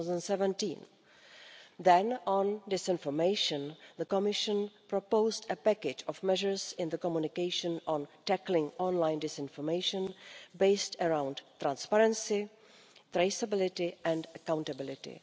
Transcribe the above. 2017. On disinformation, the Commission proposed a package of measures in the Communication on tackling online disinformation, based around transparency, traceability and accountability.